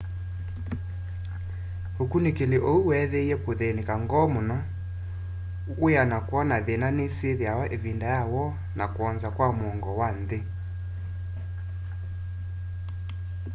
ukunikili ũu weethiie kuthĩnĩka ngoo mũno wia na kwona thina ni syithiawa ivinda ya woo na kwonza kwa mũongo wa nthi